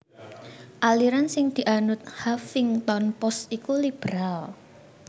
aliran sing dianut Huffington Post iku liberal